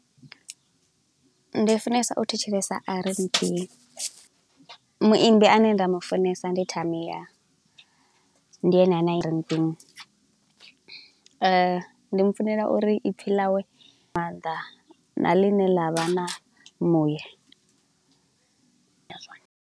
Ndi funesa u thetshelesa RnB, muimbi ane nda mu funesa ndi Tamiah, ndi ene ane . Ndi mu funela uri ipfi ḽawe, mannḓa na ḽi ne ḽa vha na muye.